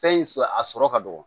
Fɛn in sɔ a sɔrɔ ka dɔgɔ